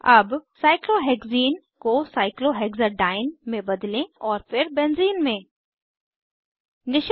अब cyclohexene cyclohexene को cyclohexadiene cyclohexadiene में बदलें और फिर बेंजीन बेंज़ीन में